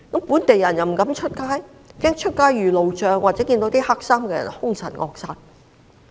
本地人不敢外出，怕出街遇路障或遇到黑衣人兇神惡煞。